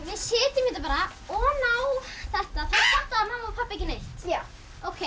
setjum þetta bara oná þetta þá fatta mamma og pabbi ekki neitt ókei